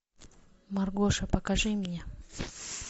маргоша покажи мне